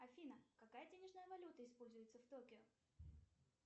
афина какая денежная валюта используется в токио